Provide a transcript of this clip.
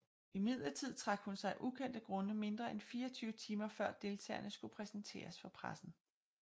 Imidlertid trak hun sig af ukendte grunde mindre end 24 timer før deltagerne skulle præsenteres for pressen